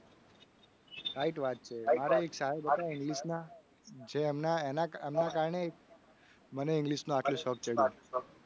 Right વાત છે. મારે એક સાહેબ હતા. english ના જે એમના એના એના કારણે મને આટલું english નું શોક ચડ્યું.